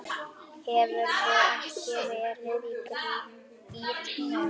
Hefurðu ekki verið í gírnum?